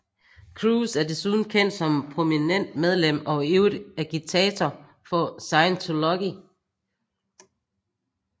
Cruise er desuden kendt som prominent medlem og ivrig agitator for Scientology